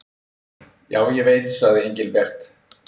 Já, ég veit sagði Engilbert.